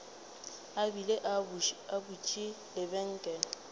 a bile a butše lebenkele